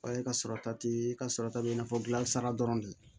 O ye ka sɔrɔta ti ka sɔrɔ ta bɛ i n'a fɔ gilasira dɔrɔn de